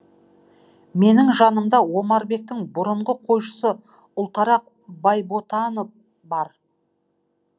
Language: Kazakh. менің жанымда омарбектің бұрынғы қойшысы ұлтарақ байботанов бар